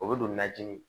O bɛ don najini